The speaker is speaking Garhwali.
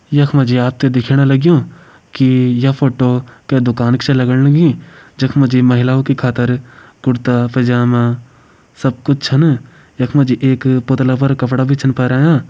यख मा जी आप त दिखेण लग्युं की ये फोटो कै दुकान की छ लगण लगीं जख मा जी महिलाओं की खातिर कुरता पैजामा सब कुछ छन। यख मा जी एक पुतला पर कपड़ा छिन पणाया।